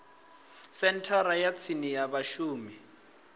senthara ya tsini ya vhashumi